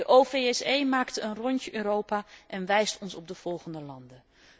De OVSE maakt een rondje Europa en wijst ons op de volgende landen.